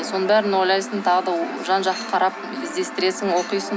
соның бәрін ойлайсың тағы да жан жақты қарап іздестіресің оқисың